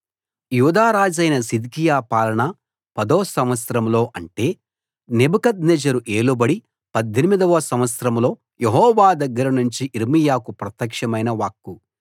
యూదా రాజైన సిద్కియా పాలన పదో సంవత్సరంలో అంటే నెబుకద్నెజరు ఏలుబడి 18 వ సంవత్సరంలో యెహోవా దగ్గర నుంచి యిర్మీయాకు ప్రత్యక్షమైన వాక్కు